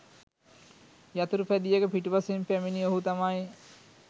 යතුරුපැදියක පිටුපසින් පැමිණි ඔහු තමයි